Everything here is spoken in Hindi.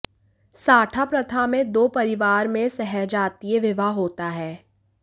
साठा प्रथा मे दो परिवार मे सहजातिय विवाह होता है